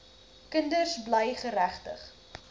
kinders bly geregtig